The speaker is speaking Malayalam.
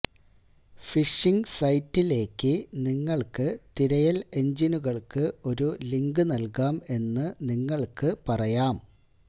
ഫിഷിംഗ് സൈറ്റിലേക്ക് നിങ്ങൾക്ക് തിരയൽ എഞ്ചിനുകൾക്ക് ഒരു ലിങ്ക് നൽകാം എന്ന് നിങ്ങൾക്ക് പറയാം